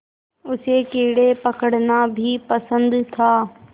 उसे कीड़े पकड़ना भी पसंद था